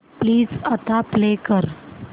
please आता play कर